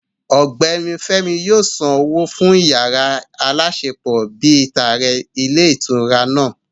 Ọ̀gbẹ́ni Fémi yóò san owó fún yàrá aláṣepọ̀ bíi tààrẹ ní ilé ìtura náà